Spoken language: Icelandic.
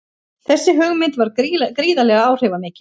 Þessi hugmynd varð gríðarlega áhrifamikil.